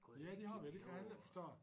Ja det har vi og det kan jeg heller ikke forstå